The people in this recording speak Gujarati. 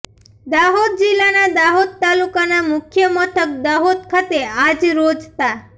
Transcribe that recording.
દાહોદ જિલ્લાના દાહોદ તાલુકાના મુખ્ય મથક દાહોદ ખાતે આજ રોજ તા